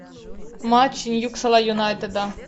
матч ньюкасл юнайтеда